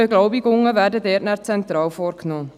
Die Beglaubigungen werden dort zentral vorgenommen.